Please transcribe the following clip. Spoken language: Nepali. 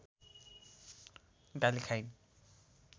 गाली खाइन्